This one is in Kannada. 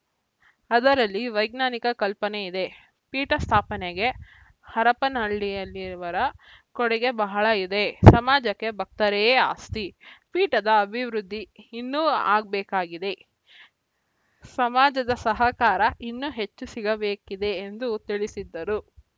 ಅದರಲ್ಲಿ ವೈಜ್ಞಾನಿಕ ಕಲ್ಪನೆ ಇದೆ ಪೀಠ ಸ್ಥಾಪನೆಗೆ ಹರಪನ ಹಳ್ಳಿಯಲ್ಲಿರುವರ ಕೊಡುಗೆ ಬಹಳ ಇದೆ ಸಮಾಜಕ್ಕೆ ಭಕ್ತರೇ ಆಸ್ತಿ ಪೀಠದ ಅಭಿವೃದ್ಧಿ ಇನ್ನೂ ಆಗ್ಬೇಕಾಗಿದೆ ಸಮಾಜದ ಸಹಕಾರ ಇನ್ನೂ ಹೆಚ್ಚು ಸಿಗಬೇಕಿದೆ ಎಂದು ತಿಳಿಸಿದ್ದರು